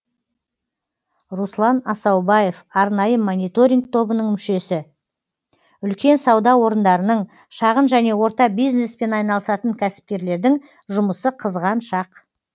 руслан асаубаев арнайы мониторинг тобының мүшесі үлкен сауда орындарының шағын және орта бизнеспен айналысатын кәсіпкерлердің жұмысы қызған шақ